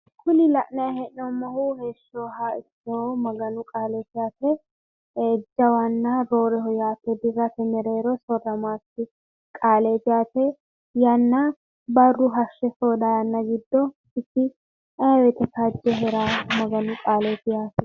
kuni la'nayi hee'noommohu heeshshoyiha ikkinohu maganu qaaleeti yaate jawanna rooreho yaate dirrate mereero soorramaakki qaaleeti yaate. yanna barru hashshe soodaa yanna giddo isi ayi woyite kaajje heerahu maganu qaaleeti yaate.